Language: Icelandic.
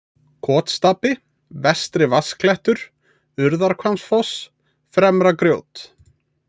Kotstapi, Vestri-Vatnsklettur, Urðarhvammsfoss, Fremra-Grjót